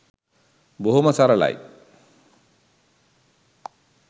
බොහොම සරලයි